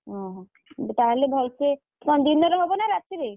ଓହୋଃ ତାହେଲେ ଭଲସେ କଣ ଦିନରେ ହବ ନା ରାତିରେ?